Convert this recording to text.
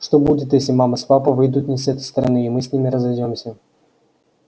что будет если мама с папой выйдут не с этой стороны и мы с ними разойдёмся